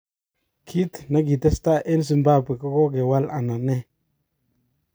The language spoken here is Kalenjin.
Kit nekikatestai eng Zimbabwe kokewal anan ee.